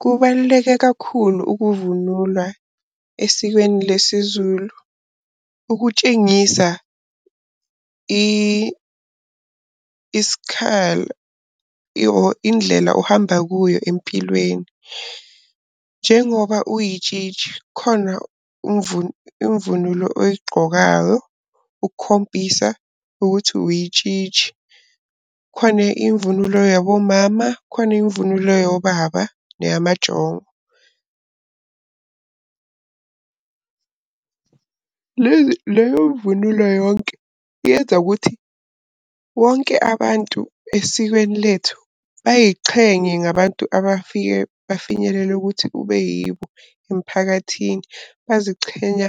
Kubaluleke kakhulu ukuvunula esikweni lesiZulu, ukutshengisa or indlela ohamba kuyo empilweni. Njengoba uyitshitshi khona imvunulo oyigqokayo ukukhombisa ukuthi uyitshitshi. Khona imvunulo yabomama, khona imvunulo yobaba, neyama njongo. Leyo mvunulo yonke yenza ukuthi wonke abantu esikweni lethu bayichenye ngabantu abafike bafinyelele ukuthi kube yibo emphakathini. Bazichenya